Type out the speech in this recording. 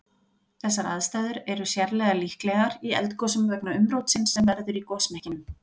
Þessar aðstæður er sérlega líklegar í eldgosum vegna umrótsins sem verður í gosmekkinum.